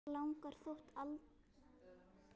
Hann langar þó alltaf heim.